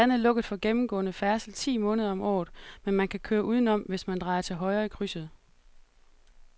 Gaden er lukket for gennemgående færdsel ti måneder om året, men man kan køre udenom, hvis man drejer til højre i krydset.